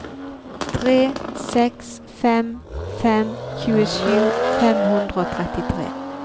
tre seks fem fem tjuesju fem hundre og trettitre